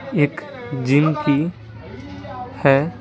एक जिम की है ।